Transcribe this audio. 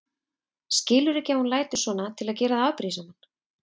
Skilurðu ekki að hún lætur svona til að gera þig afbrýðisaman?